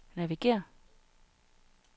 navigér